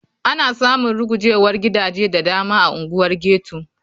Ana samun rugujewar gidaje da dama a unguwar ghetto.